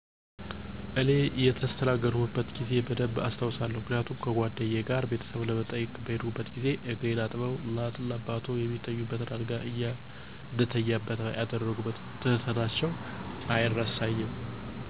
እኔ የተስተናገድኩበትን ጊዜ በደንብ አስታውሳለሁ. ምክንያቱም ከጉአደኛዬ ጋር ቤተሰቡን ለመጠየቅ በሄድኩበት ጊዜ እግሬን አጥበው, እናት እና አባቱ የሚተኙበትን አልጋ እኛ እንድንተኛበት ያደረጉበት ትህትናቸው አይረሳኝም.